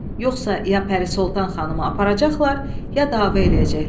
Yoxsa ya Pəri Soltan xanımı aparacaqlar, ya dava eləyəcəklər.